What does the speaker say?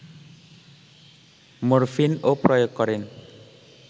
morphine ও প্রয়োগ করেন